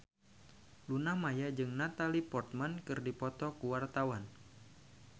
Luna Maya jeung Natalie Portman keur dipoto ku wartawan